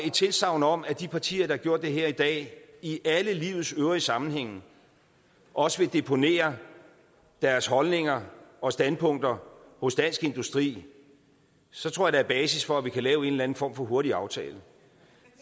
et tilsagn om at de partier der har gjort det her i dag i alle livets øvrige sammenhænge også vil deponere deres holdninger og standpunkter hos dansk industri så tror jeg der er basis for at vi kan lave en eller anden form for hurtig aftale